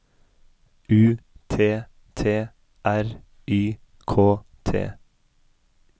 U T T R Y K T